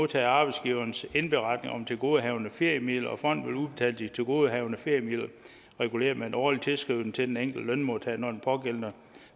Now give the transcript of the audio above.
der er arbejdsgiverens indberetning om tilgodehavende feriemidler og fonden vil udbetale de tilgodehavende feriemidler reguleret med en årlig tilskrivning til den enkelte lønmodtager når den pågældende